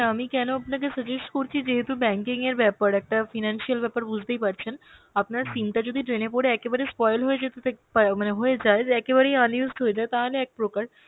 আমি কেন আপনাকে suggest করছি যেহুতু banking এর ব্যাপার একটা financial ব্যাপার বুঝতেই পারছেন, আপনার SIM টা যদি drain এ পরে একেবারে spoil যেত তো অ্যাঁ মানে হয়ে যায় যে একেবারেই unused হয়ে যায় তাহলে এক প্রকার